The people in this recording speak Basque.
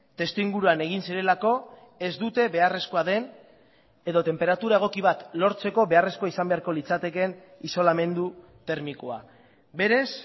testuinguruan egin zirelako ez dute beharrezkoa den edo tenperatura egoki bat lortzeko beharrezkoa izan beharko litzatekeen isolamendu termikoa berez